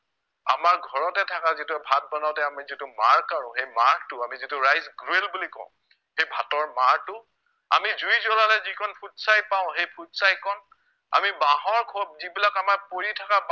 আমাৰ ঘৰতে থাকা যিটো ভাত বনাওতে আমি যিটো মাৰ কাঢ়ো সেই মাৰটো আমি যিটো rice grill বুলি কও সেই ভাতৰ মাৰটো, আমি জুই জ্ৱলালে যিকণ ফুটচাই পাও সেই ফুটচাই কণ, আমি বাঁহৰ খোপ যিবিলাক আমাৰ পৰি থকা বাঁহ